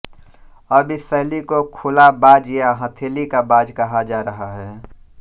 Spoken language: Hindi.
अब इस शैली को खुला बाज या हथेलीका बाज कहा जा रहा है